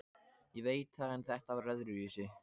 Ég veit það en þetta var öðruvísi.